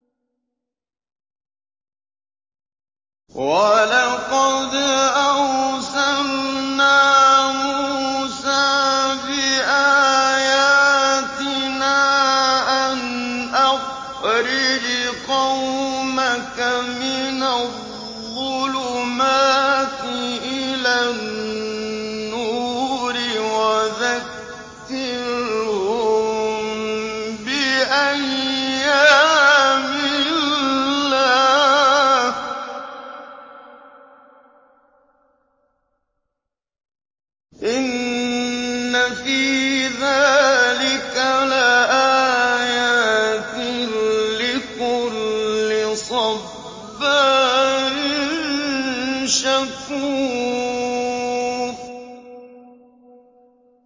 وَلَقَدْ أَرْسَلْنَا مُوسَىٰ بِآيَاتِنَا أَنْ أَخْرِجْ قَوْمَكَ مِنَ الظُّلُمَاتِ إِلَى النُّورِ وَذَكِّرْهُم بِأَيَّامِ اللَّهِ ۚ إِنَّ فِي ذَٰلِكَ لَآيَاتٍ لِّكُلِّ صَبَّارٍ شَكُورٍ